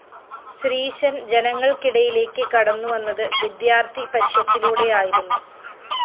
ശ്രീശന്‍ ജനങ്ങള്‍ക്കിടയിലേക്ക്‌ കടന്നുവന്നത്‌ വിദ്യാര്‍ത്ഥി പരിഷത്തിലൂടെയായിരുന്നു